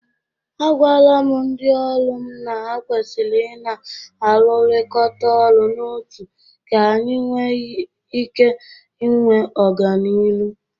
Agwala m ndị ọrụ m na ha kwesiri ị na-arụrịkọta ọrụ n'otu ka anyị nwe ike nwe ọganịrụ.